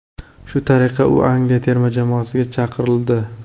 Shu tariqa u Angliya terma jamoasiga chaqirildi.